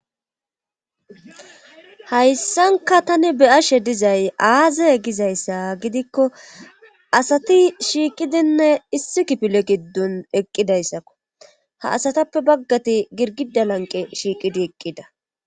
Hayssankka tani be7ashe dizay aaze gizayssa gidikko asati shiiqidinne issi kifilr giddon eqqidayssako ha asatapppe baggati girgidda lanqqe shiiqidi eqqida.